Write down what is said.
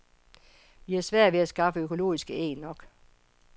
Vi har svært ved at skaffe økologiske æg nok.